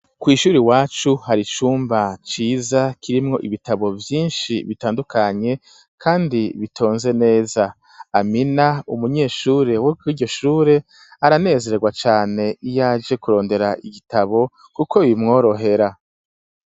Kwishure iwacu hari icumba ciza kirimwo ibitabo vyinshi bitandukanye kandi bitonze neza amina umunyeshure wo kuriryoshure aranezeregwa cane iyaje kurondera igitabo kuko bimworohera.